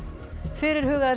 fyrirhugaðir